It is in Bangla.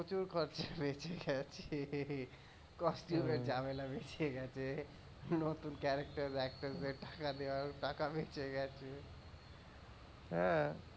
প্রচুর খরচা বেঁচে গেছে cost tube ঝামেলা বেঁচে গেছে, নতুন character actors দের টাকা দেয়ার টাকা বেঁচে গেছে। হম